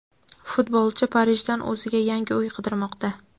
futbolchi Parijdan o‘ziga yangi uy qidirmoqda.